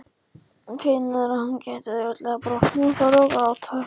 Finnur að hún gæti auðveldlega brotnað og farið að gráta.